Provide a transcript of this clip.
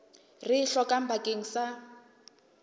re e hlokang bakeng sa